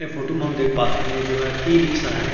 ए photo में हम देख पाथन ये जो हे ई-रिक्शा हरे।